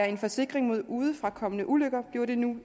en forsikring mod udefrakommende ulykker bliver det nu